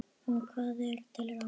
Og hvað er til ráða?